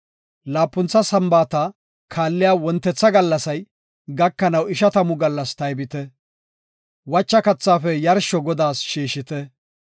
Laapuntha Sambaata kaalliya wontetha gallasay gakanaw ishatamu gallas taybite; wacha kathaafe yarsho Godaas shiishite.